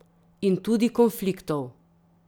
In tudi konfliktov.